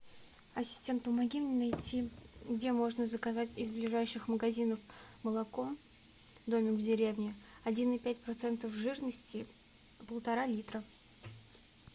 ассистент помоги мне найти где можно заказать из ближайших магазинов молоко домик в деревне один и пять процентов жирности полтора литра